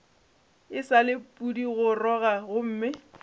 e sa le pudigoroga gomme